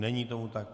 Není tomu tak.